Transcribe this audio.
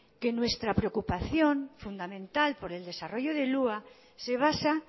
que nuestra preocupación fundamental por el desarrollo del hua se basa